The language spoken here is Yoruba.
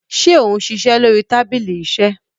ṣe òun ṣiṣẹ lórí tábìlì iṣe